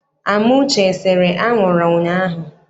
Amuche esere anwụrụ ụnyaahụ?